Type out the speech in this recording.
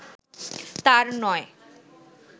তাঁর নয়